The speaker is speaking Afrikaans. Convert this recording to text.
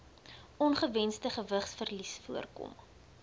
ongewensde gewigsverlies voorkom